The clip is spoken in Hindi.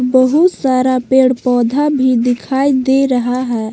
बहुत सारा पेड़ पौधा भी दिखाई दे रहा है।